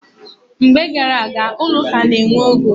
Mgbe gar aga, ụlọ ụka na-enwe ogo.